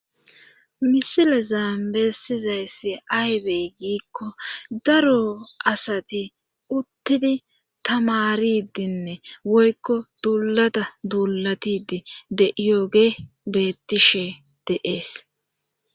misile zaambeessizayssi aybey giikko daro asati uttidi tamaridinne woykko duulata duulatidi de iyoge bettishe deees